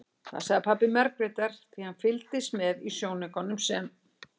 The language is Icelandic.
Það sagði pabbi Margrétar því hann fylgdist með í sjónaukanum sem